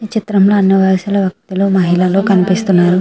ఇ చిత్రం లో అని వాయిస్ లు వక మహిళమ్ లో కనిపిస్తునాయి.